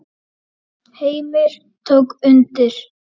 Heimir tók undir.